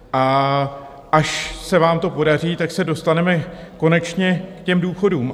A až se vám to podaří, tak se dostaneme konečně k těm důchodům.